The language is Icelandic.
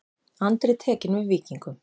Andri tekinn við Víkingum